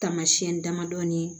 Taamasiyɛn damadɔni